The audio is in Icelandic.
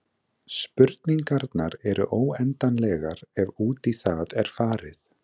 Spurningarnar eru óendanlegar ef út í það er farið.